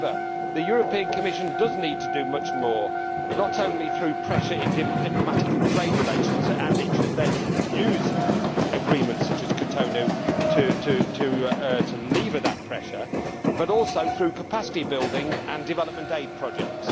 However, the European Commission does need to do much more, not only through pressure in diplomatic and trade relations and it should then use agreements such as Cotonou to leverage that pressure but also through capacity building and development aid projects.